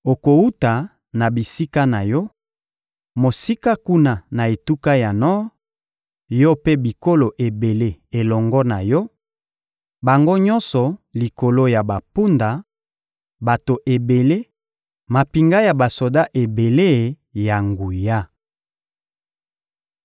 Okowuta na bisika na yo, mosika kuna na etuka ya nor, yo mpe bikolo ebele elongo na yo; bango nyonso likolo ya bampunda, bato ebele, mampinga ya basoda ebele ya nguya.